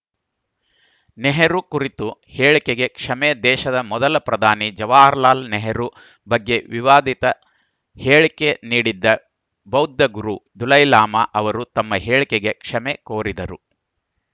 ನೆಹರು ಕುರಿತ ಹೇಳಿಕೆಗೆ ಕ್ಷಮೆ ದೇಶದ ಮೊದಲ ಪ್ರಧಾನಿ ಜವಾಹರಲಾಲ್‌ ನೆಹರು ಬಗ್ಗೆ ವಿವಾದಿತ ಹೇಳಿಕೆ ನೀಡಿದ್ದ ಬೌದ್ಧ ಗುರು ದುಲೈಲಾಮಾ ಅವರು ತಮ್ಮ ಹೇಳಿಕೆಗೆ ಕ್ಷಮೆ ಕೋರಿದರು